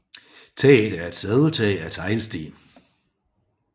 Tager er et sadeltag af teglsten